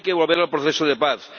Hay que volver al proceso de paz.